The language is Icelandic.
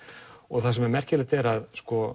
það sem er merkilegt er að